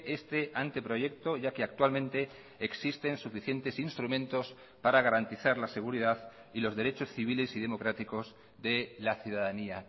este anteproyecto ya que actualmente existen suficientes instrumentos para garantizar la seguridad y los derechos civiles y democráticos de la ciudadanía